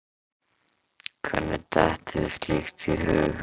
Hvernig dettur þér slíkt í hug?